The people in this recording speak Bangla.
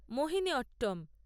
মোহিনীঅট্টম